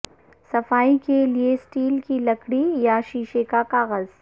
صفائی کے لئے اسٹیل کی لکڑی یا شیشے کا کاغذ